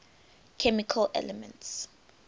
chemical elements